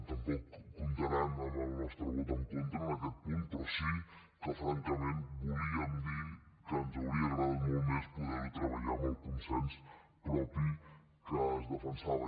tampoc comptaran amb el nostre vot en contra en aquest punt però sí que francament volíem dir que ens hauria agradat molt més poder ho treballar amb el consens propi que es defensava